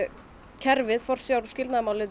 kerfið forsjár og